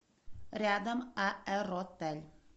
рядом аэротель